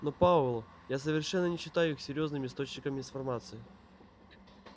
но пауэлл я совершенно не считаю их серьёзным источником информации